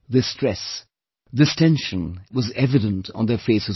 This stress, this tension was evident on their faces also